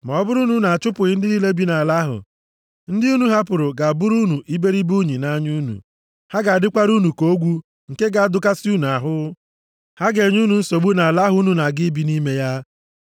“ ‘Ma ọ bụrụ na unu achụpụghị ndị niile bi nʼala ahụ, ndị unu hapụrụ ga-abụrụ unu iberibe unyi nʼanya unu. Ha ga-adịkwara unu ka ogwu nke ga-adụkasị unu ahụ. Ha ga-enye unu nsogbu nʼala ahụ unu na-aga ibi nʼime ya.